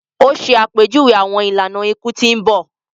O ṣe àpèjúwe awọn ìlànà iku tí n bọ